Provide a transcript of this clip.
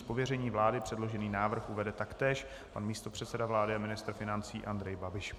Z pověření vlády předložený návrh uvede taktéž pan místopředseda vlády a ministr financí Andrej Babiš.